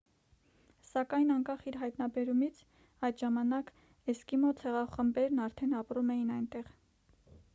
սակայն անկախ իր հայտնաբերումից այդ ժամանակ էսկիմո ցեղախմբերն արդեն ապրում էին այնտեղ